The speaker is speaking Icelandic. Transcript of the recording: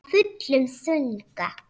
Af fullum þunga.